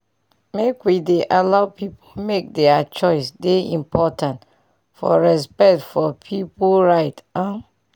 make we dey allow pipu make dier choice dey important for respect for pipu right um